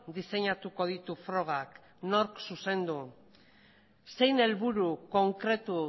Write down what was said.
diseinatuko ditu frogak nork zuzendu zein helburu konkretu